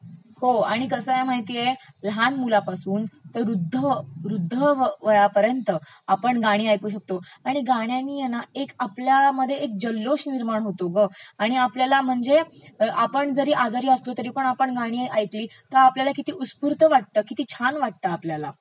हो आणि कसं आहे माहितेय, लहान मुलापासून ते वृध्द.... वृध्द वयापर्यंत आपण गाणी ऐकू शकतो, आणि गाण्यानी हे ना आपल्यामध्ये एक जल्लोष निर्माण होतो ग..आणि आपल्याला म्हणजे आपण जरी आजारी असलो तरी गाणी ऐकली तर आपल्याला किती उत्स्फूर्त वाटतं, किती छान वाटतं आपल्याला